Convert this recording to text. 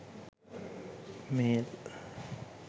mail